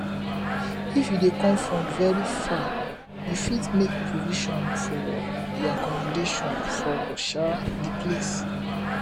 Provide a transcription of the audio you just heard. if you dey come from very far you fit make provision for your accommdation for um di place